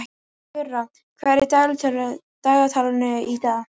Gurra, hvað er í dagatalinu í dag?